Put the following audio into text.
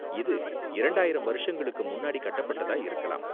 இது இரண்டாயிரம் வருஷங்களுக்கு முன்னாடி கட்டப்பட்டதா இருக்கலாம்.